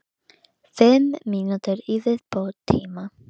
Gísli Óskarsson: Er þetta er hættulegt?